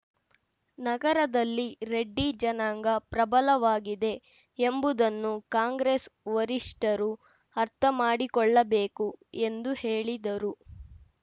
ನಗರದಲ್ಲಿ ರೆಡ್ಡಿ ಜನಾಂಗ ಪ್ರಬಲವಾಗಿದೆ ಎಂಬುದನ್ನು ಕಾಂಗ್ರೆಸ್‌ ವರಿಷ್ಠರು ಅರ್ಥ ಮಾಡಿಕೊಳ್ಳಬೇಕು ಎಂದು ಹೇಳಿದರು